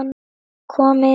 Kom inn